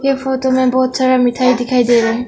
ये फोतो में बहुत सारा मिठाई दिखाई दे रहे है।